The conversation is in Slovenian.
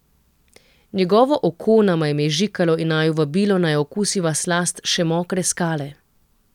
Njegovo oko nama je mežikalo in naju vabilo, naj okusiva slast še mokre skale.